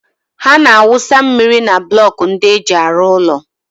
Ha na-awụsa mmiri na blọkų ndị e ji arụ ụlọ.